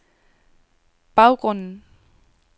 baggrunden